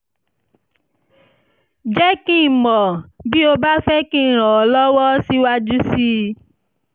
jẹ́ kí n mọ̀ bí o bá fẹ́ kí n ràn ọ́ lọ́wọ́ síwájú sí i